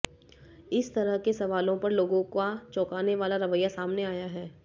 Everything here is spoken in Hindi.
इस तरह के सवालों पर लोगों का चौंकाने वाला रवैया सामने आया है